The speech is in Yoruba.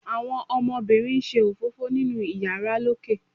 àwọn ọmọbínrín n ṣe òfófó ninu iyàrá lókè